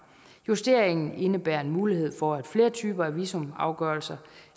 justeringen indebærer en mulighed for at flere typer af visumafgørelser